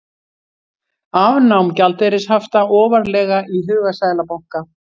Afnám gjaldeyrishafta ofarlega í huga seðlabanka